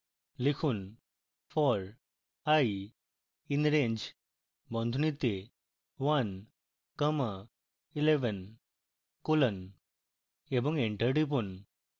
লিখুন for i in range বন্ধনীতে one comma eleven colon এবং enter টিপুন